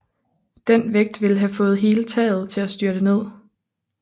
Den vægt ville have fået hele taget til at styrte ned